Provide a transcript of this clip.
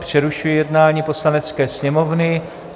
Přerušuji jednání Poslanecké sněmovny.